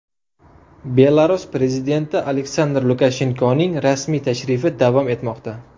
Belarus prezidenti Aleksandr Lukashenkoning rasmiy tashrifi davom etmoqda.